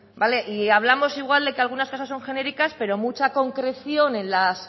y hablamos igual de que algunas cosas son genéricas pero mucha concreción en las